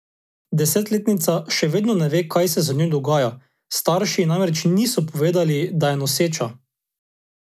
Desetletnica še vedno ne ve, kaj se z njo dogaja, starši ji namreč niso povedali, da je noseča.